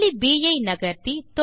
புள்ளி ப் ஐ நகர்த்தி